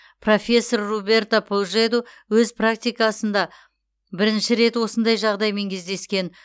профессор роберто пужеду өз практикасында бірінші рет осындай жағдаймен кездескен